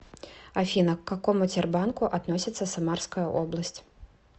афина к какому тербанку относится самарская область